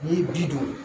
N'i ye ji don